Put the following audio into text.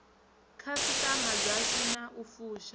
khasiṱama dzashu na u fusha